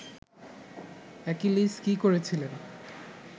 Achilles কী করেছিলেন